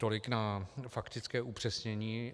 Tolik na faktické upřesnění.